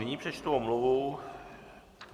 Nyní přečtu omluvu.